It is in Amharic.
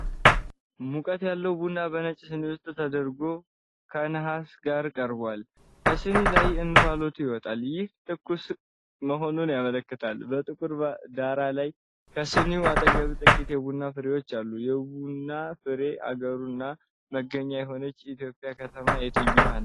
ሙቀት ያለው ቡና በነጭ ሲኒ ውስጥ ተደርጎ ከሰሃን ጋር ቀርቧል። ከሲኒው ላይ እንፋሎት ይወጣል፤ ይህም ትኩስ መሆኑን ያመለክታል። በጥቁር ዳራ ላይ ከሲኒው አጠገብ ጥቂት የቡና ፍሬዎች አሉ። የቡና ፍሬ አገሩና መገኛ የሆነችው የኢትዮጵያ ከተማ የትኛው ነው?